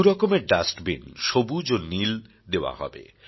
দু রকমের ডাস্টবিন সবুজ ও নীল দেওয়া হবে